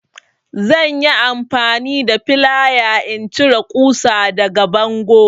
Zan yi amfani da flaya in cire ƙusar daga bango.